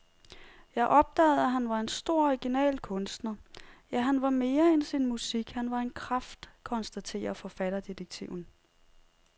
Jeg opdagede, at han var en stor original kunstner, ja, han var mere end sin musik, han var en kraft, konstaterer forfatterdetektiven.